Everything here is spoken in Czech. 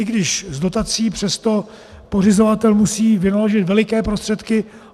I když s dotací, přesto pořizovatel musí vynaložit veliké prostředky.